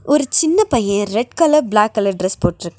ஒரு சின்ன பைய red colour black colour dress போட்ருக்கா.